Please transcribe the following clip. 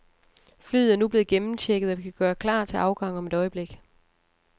Flyet er nu blevet gennemchecket, og vi kan gøre klar til afgang om et øjeblik.